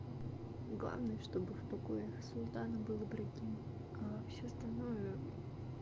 главное чтобы в покоях султана был ибрагим все остальное